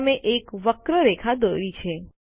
તમે એક વક્ર રેખા દોરી છે